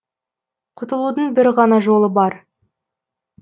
құтылудың бір ғана жолы бар